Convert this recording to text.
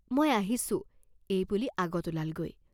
মই আহিছোঁ" এই বুলি আগত ওলালগৈ।